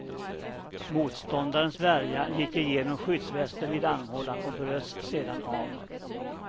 Motståndarens värja gick igenom skyddsvästen vid armhålan och bröts sedan av.